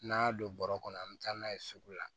N'an y'a don bɔrɔ kɔnɔ an bɛ taa n'a ye sugu la